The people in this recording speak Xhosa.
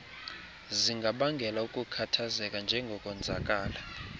zingabangela ukukhathazeka njengokonzakala